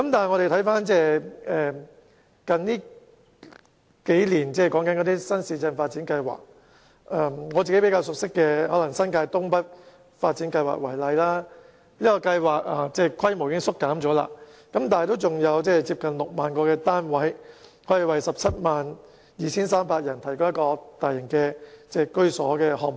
我們看看近年的新市鎮發展計劃，以我較熟悉的新界東北發展計劃為例，雖然規模已有所縮減，但依然是一個可提供接近6萬個單位，並為 172,300 人提供居所的大型項目。